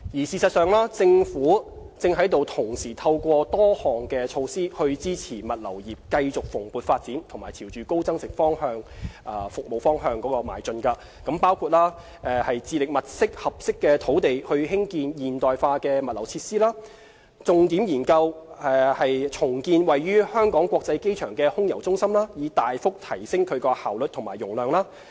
事實上，政府正同時透過多項措施，支持物流業繼續蓬勃發展及朝高增值服務方向邁進，包括致力物色合適土地興建現代化物流設施；重點研究重建位於香港國際機場的空郵中心，以大幅提升其效率及容量。